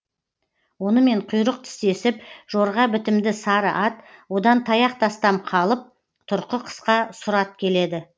онымен құйрық тістесіп жорға бітімді сары ат одан таяқ тастам қалып тұрқы қысқа сұр ат келеді